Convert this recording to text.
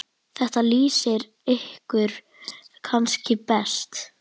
Þetta lýsir ykkur kannski best.